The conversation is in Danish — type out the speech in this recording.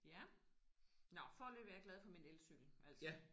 Ja. Nåh foreløbigt er jeg glad for min elcykel altså